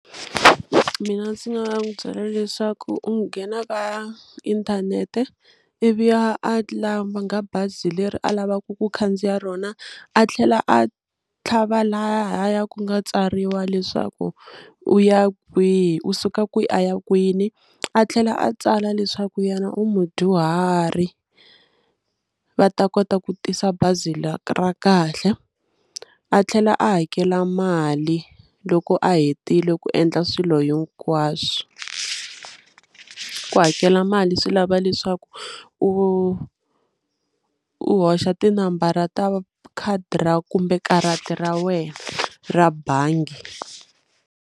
Mina ndzi nga n'wi byela leswaku u nghena ka inthanete ivi a a langa bazi leri a lavaka ku khandziya rona a tlhela a tlhava lahaya ku nga tsariwa leswaku u ya kwihi u suka kwihi a ya kwini a tlhela a tsala leswaku yena u mudyuhari va ta kota ku tisa bazi ra ra kahle a tlhela a hakela mali loko a hetile ku endla swilo hinkwaswo, ku hakela mali swi lava leswaku u u hoxa tinambara ta khadi ra kumbe karata ra wena ra bangi.